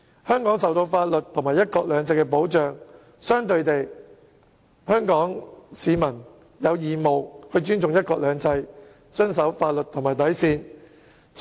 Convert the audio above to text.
香港受法律及"一國兩制"保障，香港市民同樣有義務尊重"一國兩制"，遵守法律和底線。